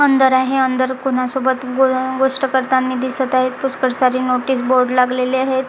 अंदर आहे अंदर कोणासोबत गोष्ट करतानी दिसत आहेत पुष्कर सारी नोटीस बोर्ड लागलेली आहेत.